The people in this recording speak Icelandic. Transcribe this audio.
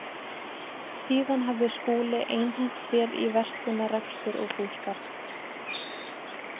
Síðan hafði Skúli einhent sér í verslunarrekstur og búskap.